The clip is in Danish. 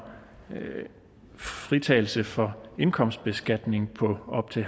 fritagelse for indkomstbeskatning på op til